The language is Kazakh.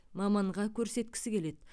маманға көрсеткісі келеді